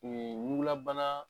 Mun ye Ɲukulabana